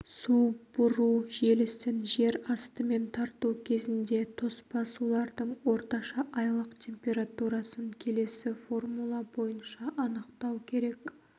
су бұру желісін жер астымен тарту кезінде тоспа сулардың орташа айлық температурасын келесі формула бойынша анықтау керек